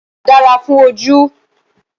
Àlùbọ́sà dáa fún ojú.